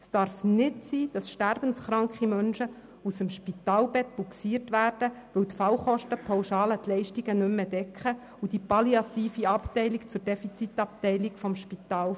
Es darf nicht sein, dass sterbenskranke Menschen aus dem Spitalbett rausbugsiert werden, weil die Fallkostenpauschale die Leistungen nicht mehr decken und die palliative Abteilung zur Defizitabteilung des Spitals wird.